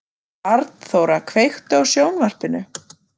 Arnþóra, kveiktu á sjónvarpinu.